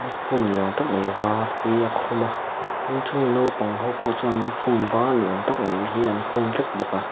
ni awm tak mai var hi a khum a tin chung naupang ho pawh chuan lukhum var ni awm tak mai hi an khum vek bawk a.